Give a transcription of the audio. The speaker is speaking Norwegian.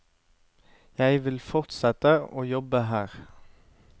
Jeg vil fortsette å jobbe her.